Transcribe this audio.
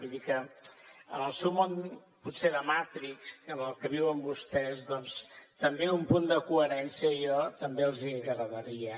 vull dir que en el seu món potser de matrix en el que viuen vostès doncs també un punt de coherència jo també els hi agrairia